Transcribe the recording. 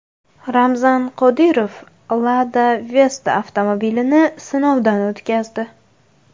Ramzan Qodirov Lada Vesta avtomobilini sinovdan o‘tkazdi.